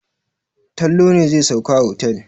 Tanlo ne zai sauka a otel.